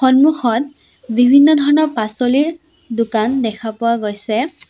সন্মুখত বিভিন্ন ধৰণৰ পাছলিৰ দোকান দেখা পোৱা গৈছে।